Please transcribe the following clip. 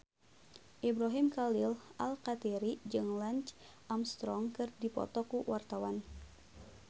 Ibrahim Khalil Alkatiri jeung Lance Armstrong keur dipoto ku wartawan